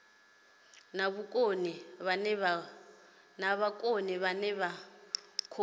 na vhukoni vhane vha khou